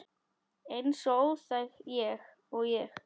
Eins óþæg og ég?